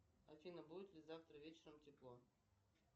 афина будет ли завтра вечером тепло